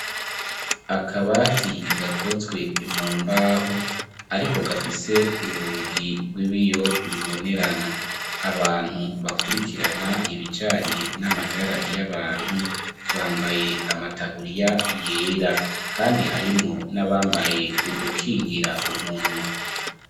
Akabati gakozwe mu mbaho, ariko gafise urugi rw'ibiyo bibonerana; abantu bakurikirana ibijanye n'amagara y'abantu, bambaye amataburiya yera kandi harimwo n'abambaye udukingira umunwa.